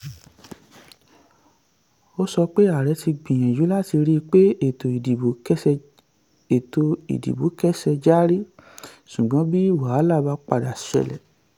ó sọ pé ààrẹ ti gbìyànjú láti ríi pé ètò ìdìbò kẹ́sẹ ètò ìdìbò kẹ́sẹ járí ṣùgbọ́n bí wàhálà bá padà ṣẹlẹ̀.